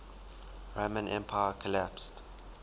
roman empire collapsed